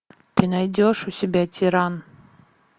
ты найдешь у себя тиран